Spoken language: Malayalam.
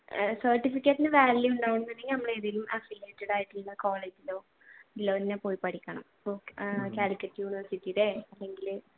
certifcate ന് value ഉണ്ടാകണമെന്നുണ്ടെങ്കിൽ ഏതെങ്കിലും affiliated ആയിട്ടുളള കോളേജിലോ പോയി പഠിക്കണം